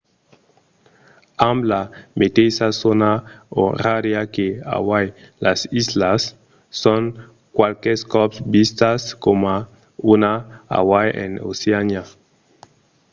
amb la meteissa zòna orària que hawaii las islas son qualques còps vistas coma un hawaii en oceania